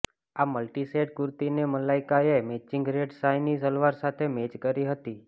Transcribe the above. આ multi shade કુર્તીને મલાઈકાએ મેચિંગ રેડ શાઇની સલવાર સાથે મેચ કરી હતી